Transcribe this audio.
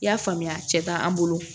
I y'a faamuya a cɛ t'an bolo